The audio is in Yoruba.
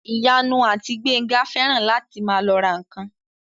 Ìyanu àti Gbénga fẹ́ràn láti máa lọ ra ǹkan